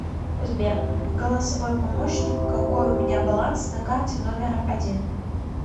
сбер голосовой помощник какой у меня баланс на карте номер один